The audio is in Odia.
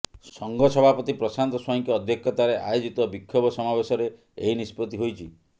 ସଂଘ ସଭାପତି ପ୍ରଶାନ୍ତ ସ୍ୱାଇଁଙ୍କ ଅଧ୍ୟକ୍ଷତାରେ ଆୟୋଜିତ ବିକ୍ଷୋଭ ସମାବେଶରେ ଏହି ନିଷ୍ପତ୍ତି ହୋଇଛି